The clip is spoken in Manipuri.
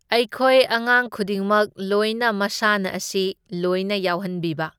ꯑꯩꯈꯣꯏ ꯑꯉꯥꯡ ꯈꯨꯗꯤꯡꯃꯛ ꯂꯣꯏꯅ ꯃꯁꯥꯟꯅꯥ ꯑꯁꯤ ꯂꯣꯏꯅ ꯌꯥꯎꯍꯟꯕꯤꯕ꯫